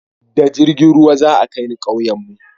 da jirgin ruwa za a kai ni kauyen mu